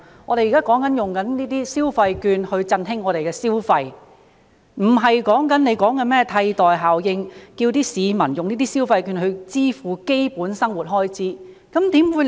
我們現在說使用這些消費券以振興消費，並不是局長說的甚麼"替代效應"，叫市民用這些消費券支付基本生活開支。